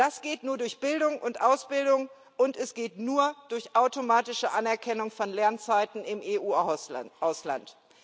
Das geht nur durch Bildung und Ausbildung, und es geht nur durch automatische Anerkennung von Lernzeiten im EU Ausland.